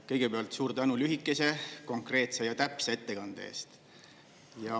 Kõigepealt suur tänu lühikese, konkreetse ja täpse ettekande eest!